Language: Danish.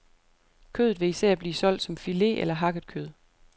Kødet vil især blive solgt som filet eller hakket kød.